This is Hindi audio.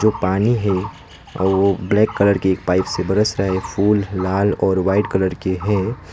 वो पानी है आ वो ब्लैक कलर की पाइप से बरस रहा है फुल लाल और वाइट कलर के है।